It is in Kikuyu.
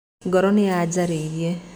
Ngoro nĩyanjarĩirie.